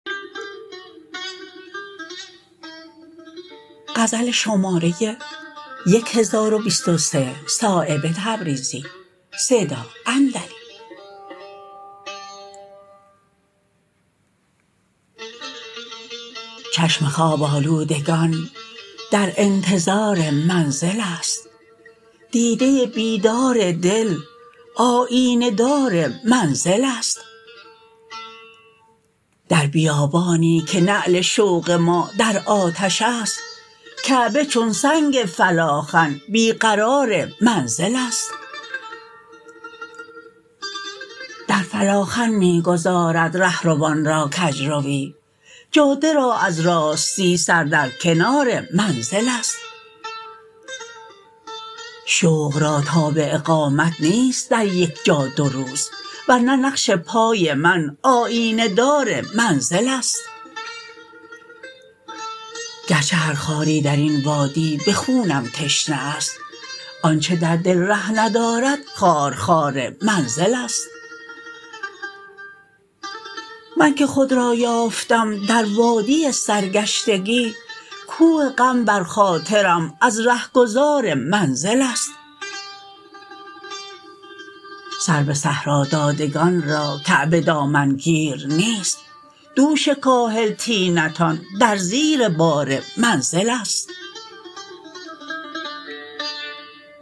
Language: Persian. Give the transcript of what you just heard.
چشم خواب آلودگان در انتظار منزل است دیده بیدار دل آیینه دار منزل است در بیابانی که نعل شوق ما در آتش است کعبه چون سنگ فلاخن بی قرار منزل است در فلاخن می گذارد رهروان را کجروی جاده را از راستی سر در کنار منزل است شوق را تاب اقامت نیست در یک جا دو روز ورنه نقش پای من آیینه دار منزل است گرچه هر خاری درین وادی به خونم تشنه است آنچه در دل ره ندارد خارخار منزل است من که خود را یافتم در وادی سرگشتگی کوه غم بر خاطرم از رهگذار منزل است سر به صحرادادگان را کعبه دامنگیر نیست دوش کاهل طینتان در زیر بار منزل است